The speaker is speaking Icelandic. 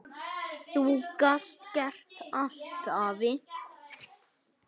Þú gast gert allt, afi.